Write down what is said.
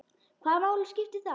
Hvaða máli skiptir það?